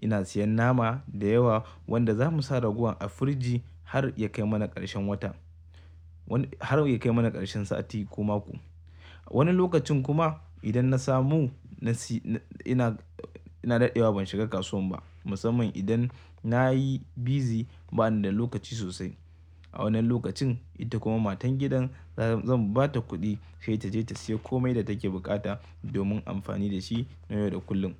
Ina siyan nama da yawa wanda za mu sa raguwan a firiji har ya kai mana ƙarshen watan, har ya kai mana ƙarshen sati ko mako, Wani lokacin kuma, idan na samu, na siyo, ina, ina daɗewa ban shiga kasuwan ba, musamman idan na yi busy bani da lokaci sosai. A wannan lokacin, ita kuma matan gidan za, zan ba ta kuɗi sai ta je ta siya komai da take buƙata domin amfani da shi na yau da kullum.